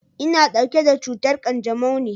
Ina ɗauke da cutar ƙanjamau ne.